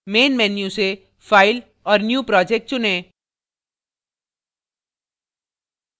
main menu से file और new project चुनें